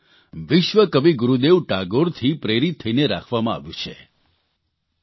તેમનું આ નામ વિશ્વકવિ ગુરૂદેવ ટાગોરથી પ્રેરિત થઇને રાખવામાં આવ્યું છે